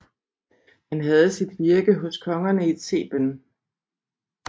Han havde sit virke hos kongerne i Theben